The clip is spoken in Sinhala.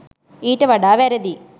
ඊට වඩා වැරදි